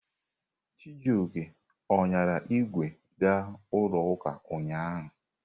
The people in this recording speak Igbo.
Chijioke ọ ṅyara ìgwè ga n'ụlọ ụka ụnyahụ?